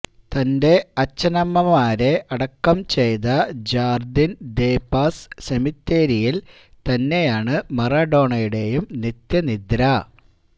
തന്റെ അച്ഛനമ്മമാരെ അടക്കം ചെയ്ത ജാര്ദിന് ദേ പാസ് സെമിത്തേരിയില് തന്നെയാണ് മറഡോണയുടെയും നിത്യനിദ്ര